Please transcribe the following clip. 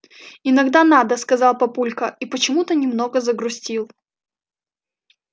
иногда надо сказал папулька и почему-то немного загрустил